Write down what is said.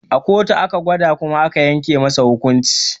A kotu aka gwada kuma aka yanke masa hukunci